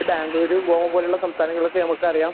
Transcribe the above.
ബാംഗ്ലൂരു ഗോവ പോലുള്ള സംസ്ഥാനങ്ങളിലൊക്കെ നമുക്കറിയാം